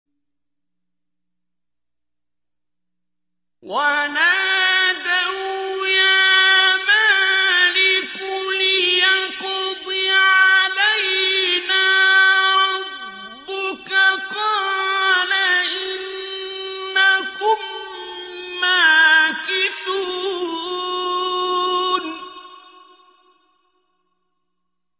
وَنَادَوْا يَا مَالِكُ لِيَقْضِ عَلَيْنَا رَبُّكَ ۖ قَالَ إِنَّكُم مَّاكِثُونَ